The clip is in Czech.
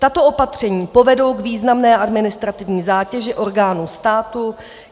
Tato opatření povedou k významné administrativní zátěži orgánů státu.